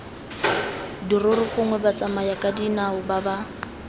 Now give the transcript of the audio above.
dirori gongwe batsamayakadinao ba ba